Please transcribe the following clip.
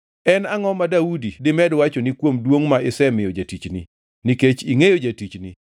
“En angʼo ma Daudi dimed wachoni kuom duongʼ ma isemiyo jatichni? Nikech ingʼeyo jatichni,